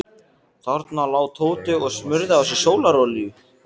Þarna lá Tóti og smurði á sig sólarolíu.